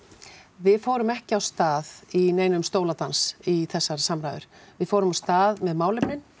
við fórum ekki af stað í neinum í þessar samræður við fórum af stað með málefnin